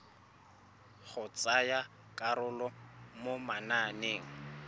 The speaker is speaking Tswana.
go tsaya karolo mo mananeng